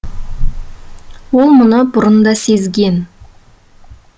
ол мұны бұрын да сезген